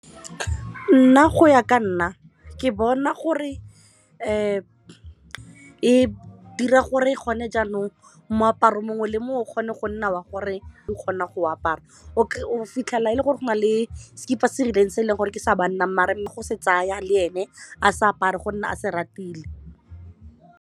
Nna go ya ka nna ke bona gore e dira gore gone jaanong moaparo mongwe le mongwe o kgone go nna wa go re o kgona go apara o ke o fitlhela e le gore go na le sekipa se rileng se e leng gore ke sa banna mme go se tsaya le ene a sa apare gonne a se ratile.